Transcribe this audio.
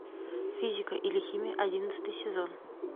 физика или химия одиннадцатый сезон